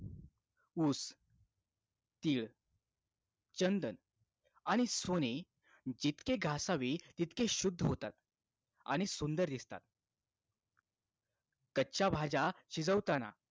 ऊस तीळ चंदन आणि सोने जितके घासावी तितके शुद्ध होतात आणि सुंदर दिसतात कच्च्या भाज्या शिजवताना